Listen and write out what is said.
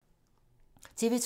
TV 2